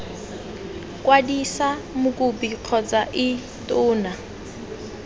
kwadisa mokopi kgotsa ii tona